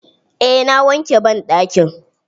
Eh na wanke banɗakin.